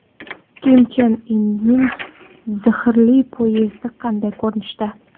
Kim Chen Inning zirhli poyezdi qanday ko‘rinishda?